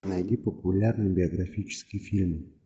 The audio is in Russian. найди популярный биографический фильм